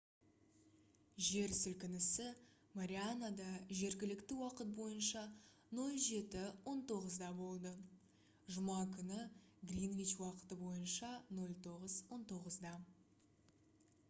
жер сілкінісі марианада жергілікті уақыт бойынша 07:19-да болды жұма күні гринвич уақыты бойынша 09:19